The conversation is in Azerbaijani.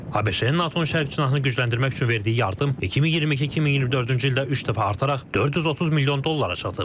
ABŞ-nin NATO-nun şərq cinahını gücləndirmək üçün verdiyi yardım 2022-2024-cü ildə üç dəfə artaraq 430 milyon dollara çatıb.